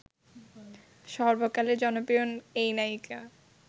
সর্বকালের জনপ্রিয় এই নায়িকা